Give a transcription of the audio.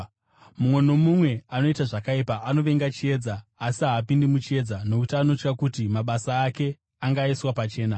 Mumwe nomumwe anoita zvakaipa anovenga chiedza, uye haapindi muchiedza nokuti anotya kuti mabasa ake angaiswa pachena.